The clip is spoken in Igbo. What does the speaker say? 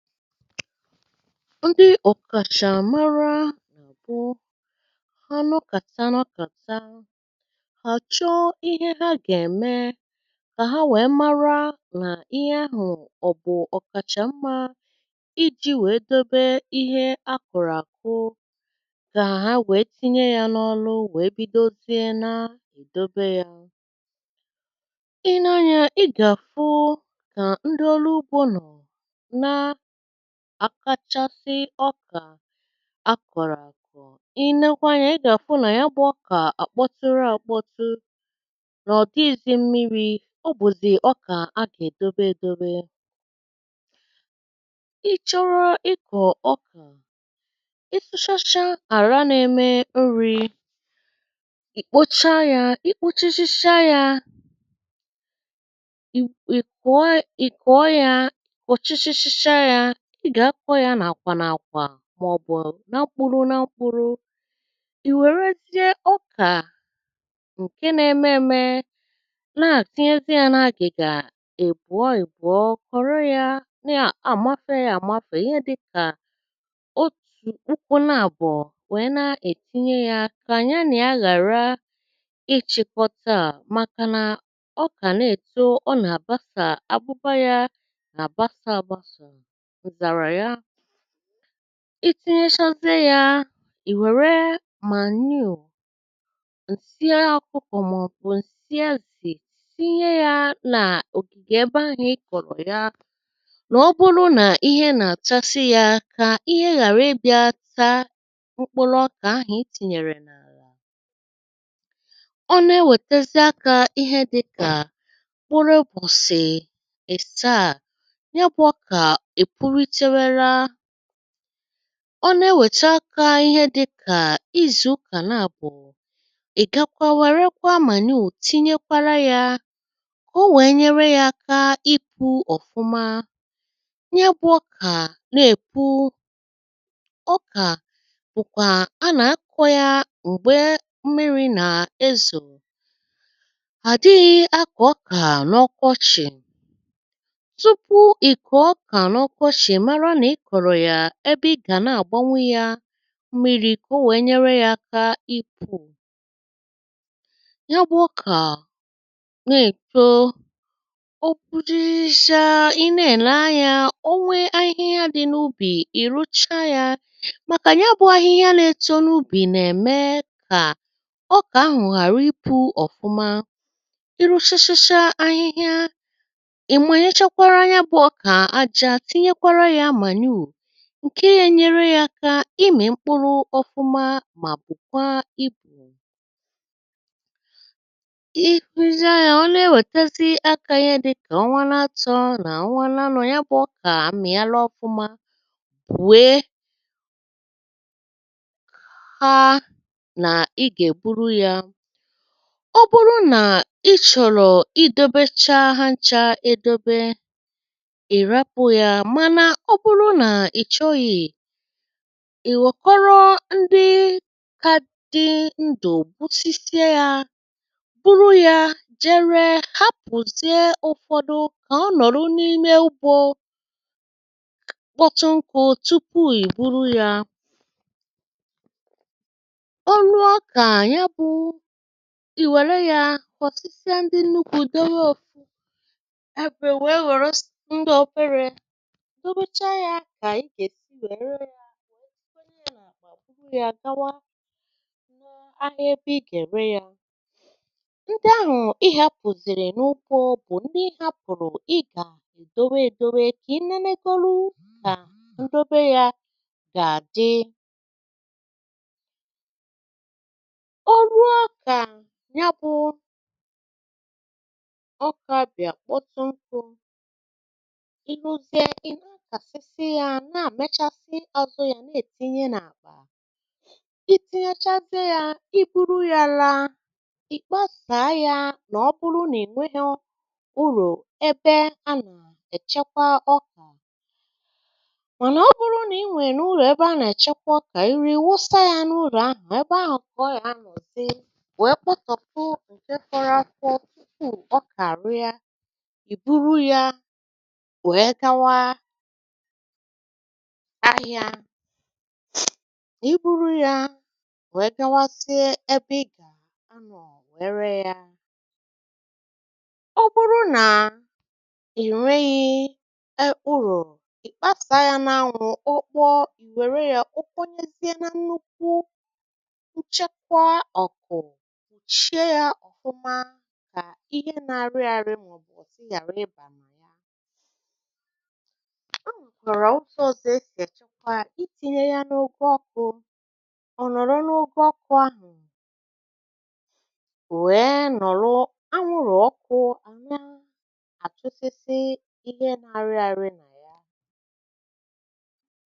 Ndị ọ̀kàchà mara bụ̇ ha nọkàta nọkàta ha chọọ ihe ha gà-ème kà ha wèe mara nà ihe ahụ̀ ọ̀bụ̀ ọ̀kàchà mmȧ i ji̇ wèe dobe ihe akụrụ àkụ kà ha wèe tinye yȧ n’ọlụ wèe bidozie na-èdobe yȧ. I lee anya, ị gà-àfụ nà ndị ọlụ ugbo nọ na àkàchasị ọkà a kọ̀rọ̀ àkọ̀. I nekwaa anya, ị gà-àfụ nà ya bụ̀ ọkà àkpọtụrụ àkpọtụ nà ọ̀ dịghịzị̇ mmiri̇. Ọ bụzì ọkà a gà-èdobe èdobe. ị chọrọ ịkọ̀ ọkà, ị sụchachaa àra nȧ-ėmė nri̇, ì kpocha ya. I kpochachacha ya, ị ị kọọ ya ị kọọ yaa kọchịchịchaa ya. Ị gà-akọ̇ yȧ nà-àkwà nà àkwà màọbụ̀ na mkpuru na mkpuru̇. I wèrezie ọkà ǹke na-emė eme na-àtịyezị yȧ n’agìgà ịbụọ ịbụọ, kọ̀rọ yȧ nà àmafee yȧ àmafe ihe dịkà otù ụkwụ naàbọ̀ nwèe na-ètinye yȧ kà nya na ya ghàra ịchị̇kọtaà màkà nà ọkà na-èto ọ nà-àbasa abụba yȧ na-àbasa àbasò Itinyẹ chazịe yȧ, ì wère manure ǹsị ọkụkọ maọ̀bụ̀ ǹsị ezì tinye yȧ n' ògìgè ebe ahụ̀ ị kọ̀rọ̀ ya, n'ọbụrụ n’ihe nà-àtasị ya kà ihe ghàra ịbị̇ȧ taa mkpụrụ ọkà ahụ̀ itinyèrè n'àlà. Ọ na-ewètazị aka ihe dị̇kà mkpụrụ ụbọsị asaa, ya bụ ọkà e punyitewela. Ọ na-eweta aka ihe dịka izu ụka naàbụ̀, ị gakwa wère kwa manure tinye kwara yȧ ka ọ nwèe nyere ya aka i pu ọ̀fụma. Nyabụ ọkà na-èbu ọkà ụ̀kwà a nà-akọ̇ yȧ m̀gbè mmiri̇ nà-ezo; adịghị̇ akọ ọkà n’ọkọchị̀. Tupuu ị kọọ ọkà n’ọkọchi ị mara n'ị kọ̀rọ̀ yà ebe ị gà na-àgbanwu yȧ m̀miri̇ kà o wèe nyere yȧ aka i pù. Ya bụ̇ ọkà na-èto o putechaa, ị na-èle anyȧ, o nwee ahịhịa dị̇ n’ubì, ị rụchaa yȧ màkà ya bụ̇ ahịhịa n’etȯ n’ubì nà-ème kà ọkà ahụ̀ ghàra i pu̇ ọ̀fụma. Ị rụchachacha ahịhịa, ị manyekwara nyȧ bụ̇ ọkà àjà, tinyekwara ya manure ǹke ye nyere yȧ aka ịmị̀ mkpụrụ ọfụma mà bukwàa ibu. Ị hụzịa yȧ, ọ na-ewètazị aka ihe dị kà ọnwȧ na-atọ̇ nà ọnwȧ na-anọ̇, ya bụ̀ ọkà amị̀ala ọfụma wee ha nà ị gà-ègburu yȧ. Ọ bụrụ nà ị chọ̀rọ̀ ịdobecha ha nchȧ edobe, ị rapụ ya mana ọ bụrụ na ị chọghị, ìwèkọrọ ndị ka dị ndụ̀ gbusisie yȧ buru yȧ je ree ha pụzie ụ̀fọdụ ka ọnọ̀rụ n’ime ugbȯ kpọtụ nkụ tupu ì buru yȧ. o ruo kà nya bụ̇ ì wère yȧ kọ̀tụsie ndị nnukwu̇ dobe òfu ebè wèe ghọrọsịa ndị ọ̇bere, dobechaa ya kà igè si wèe reè ya wère sikwanị̇ yȧ mà buru yȧ gawa ahịa ebe i ga-èrè yȧ. Ndị ahụ̀ i hȧpùzìrì n’ugbo bụ̀ ndị ị hȧpụ̀rụ̀ ị gà-èdowe èdowe kà ị nẹ nẹgọrọ ụkà ǹdobe yȧ gà-àdị. o ruo ọkà nya bụ̇ ọkà bịà kpọtụ nkụ ị nà-àmechasị yȧ na-adọchasị ya nà-ètinye n’àkpà. I tinyechazịe ya, ị buru yȧ laa, ị kpasàa yȧ nà ọ bụrụ nà i nwerọ ụlọ ebe anà-èchekwa ọkà, mànà ọ bụrụ nà i nwèè ụlọ ebe anà-èchekwa ọkà, i ruo ị wụsa yȧ n’ụlọ ahụ̀, ebe ahụ̀ ka ọ ga-anọ̀ di wèe kpọtọpụ fọrọ a fọ tupuu ọkà àrịa. I buru yȧ wèe gawa ahịa. N’iburu ya wee gawazie ebe ị gà-anọ̀ wèe ree ya. Ọ bụrụ nà ị̀ nweghị̇ e ụlọ, ị̀ kpasaà ya n’anwụ̇, ọ kpọọ ị̀ wère ya kponyezịe na nnukwu nchekwa ọ̀kụ̀. ì chee ya ọ̀fụma kà ihe na-arị arị n'osisì yàrà ịbà ma. i tinye yȧ n’okė ọkụ̇, ọ nọ̀rọ̀ n’okė ọkụ̇ ahụ̀ wèe nọ̀lụ̀ anwụrụ̀ ọkụ̇ àhụ na- àchụsịsị ihe nȧ-ȧrị́rị́ nà yà.